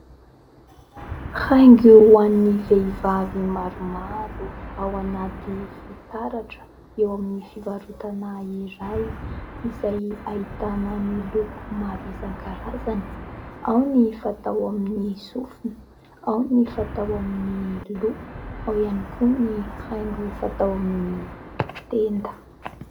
Haingo ho an'ny vehivavy maromaro ao anaty fitaratra eo amin'ny fivarotana iray izay ahitana ny loko maro isankarazany ; ao ny fatao amin'ny sofina, ao ny fatao amin'ny loha, ao ihany koa ny haingo fatao amin'ny tenda.